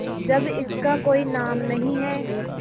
जब इसका कोई नाम नहीं है